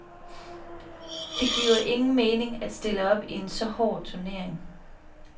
Det giver ingen mening at stille op i en så hård turnering.